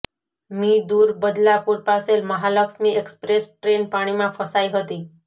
મી દૂર બદલાપુર પાસે Mahalaxmi express train પાણીમાં ફસાઇ હતી